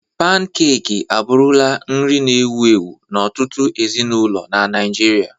Pankek abụrụla nri na-ewu ewu n'ọtụtụ ezinụlọ na Naịjirịa.